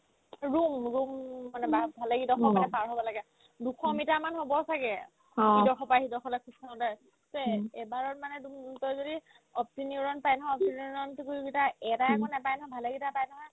room room মানে বা ভালেকেইটা কোঠা মানে পাৰ হ'ব লাগে দুশ মিটাৰমান হ'ব ছাগে ভিতৰ সোপা সেই দখৰা খোজাকাঢ়োতে তে এবাৰত মানে তুমি উম তই যদি opti neurone পাই নহয় opti neurone টুকুৰকেইটাই এটাই নহয় ভালেকেইটা পাই নহয়